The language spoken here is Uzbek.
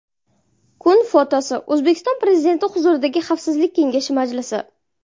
Kun fotosi: O‘zbekiston Prezidenti huzuridagi Xavfsizlik kengashi majlisi.